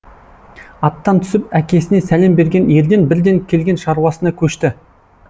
аттан түсіп әкесіне сәлем берген ерден бірден келген шаруасына көшті